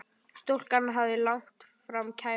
Stúlkan hafði lagt fram kæru.